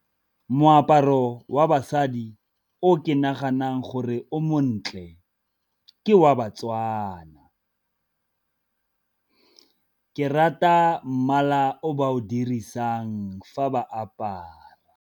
Moaparo wa basadi o ke naganang gore o montle ke wa baTswana, ke rata mmala o ba o dirisang fa ba apara.